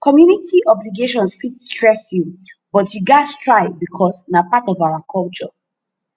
community obligations fit stress you but you gats try bicos na part of our culture